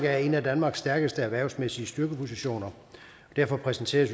er en af danmarks stærkeste erhvervsmæssige styrkepositioner og derfor præsenterede